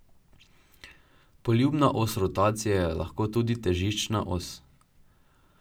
Poljubna os rotacije je lahko tudi težiščna os.